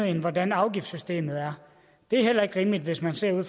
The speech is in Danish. end hvordan afgiftssystemet er det er heller ikke rimeligt hvis man ser